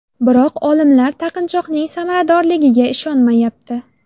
Biroq olimlar taqinchoqning samaradorligiga ishonmayapti.